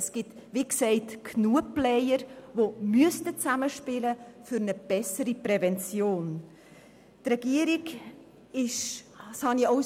Es gibt, wie gesagt, genügend Player, sie sollten aber für eine bessere Prävention besser zusammenspielen.